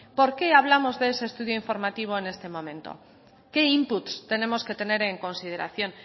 por qué hablamos de ese estudio informativo en este momento qué inputs tenemos que tener en consideración